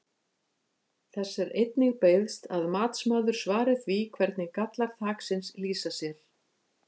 Þess er einnig beiðst að matsmaður svari því hvernig gallar þaksins lýsa sér?